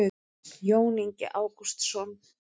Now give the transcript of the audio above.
jón ingi ágústsson